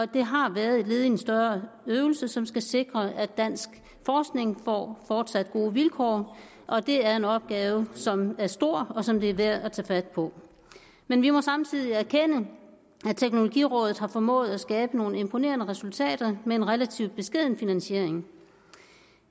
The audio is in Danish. det har været et led i en større øvelse som skal sikre at dansk forskning får fortsat gode vilkår og det er en opgave som er stor og som det er værd at tage fat på men vi må samtidig erkende at teknologirådet har formået at skabe nogle imponerende resultater med en relativt beskeden finansiering